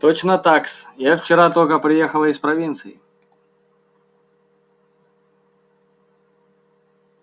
точно так-с я вчера только приехала из провинции